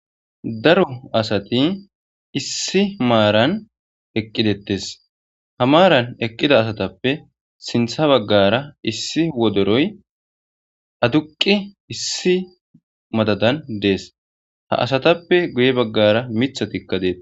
daro asati issi maaran eqqidettes ha maaran eqqida asatappe sintha baggara issi wodoroy aduqqi issi madadan dees ha asatappe guye baggara mithatikka deeta